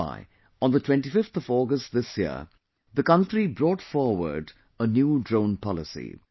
Which is why on the 25th of August this year, the country brought forward a new drone policy